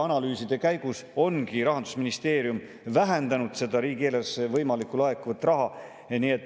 Analüüside käigus ongi Rahandusministeerium vähendanud seda riigieelarvesse laekuda võiva raha summat.